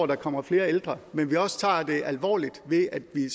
der kommer flere ældre men at vi også tager det alvorligt ved at vi